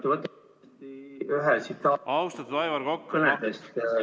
Te olete ühes oma kõnes ...